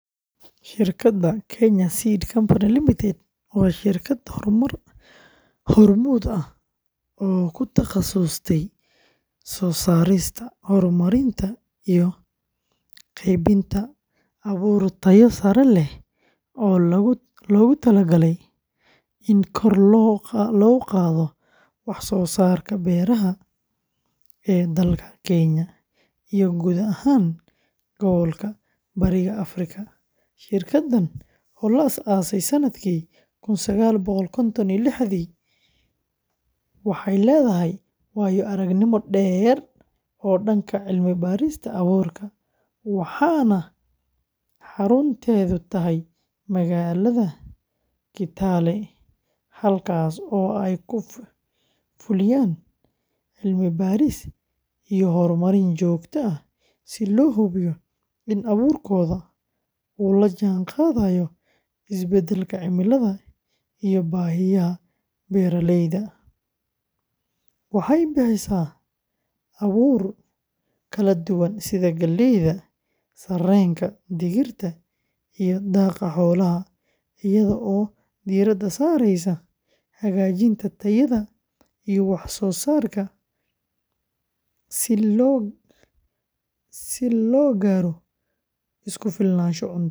Shirkadda Kenya Seed Company Ltd. waa shirkad hormuud ah oo ku takhasustay soo saarista, horumarinta, iyo qaybinta abuur tayo sare leh oo loogu talagalay in kor loo qaado wax soo saarka beeraha ee dalka Kenya iyo guud ahaan gobolka Bariga Afrika. Shirkaddan oo la aasaasay sannadkii kun sagaal boqol konton iyo liixdii, waxay leedahay waayo-aragnimo dheer oo dhanka cilmi-baarista abuurka, waxaana xarunteedu tahay magaalada Kitale, halkaasoo ay ka fuliyaan cilmi-baaris iyo horumarin joogto ah si loo hubiyo in abuurkooda uu la jaanqaadayo isbedelka cimilada iyo baahiyaha beeraleyda, waxay bixisaa abuur kala duwan sida galleyda, sarreenka, digirta, iyo daaqa xoolaha, iyada oo diiradda saareysa hagaajinta tayada iyo wax-soo-saarka si loo gaaro isku filnaansho cunto.